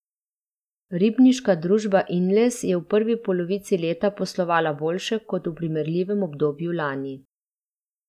Ribniška družba Inles je v prvi polovici leta poslovala boljše kot v primerljivem obdobju lani.